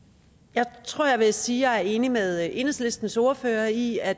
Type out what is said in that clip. jeg tror jeg vil sige at jeg er enig med enhedslistens ordfører i at